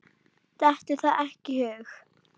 Dettur það ekki í hug.